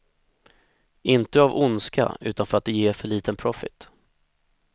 Inte av ondska utan för att det ger för liten profit.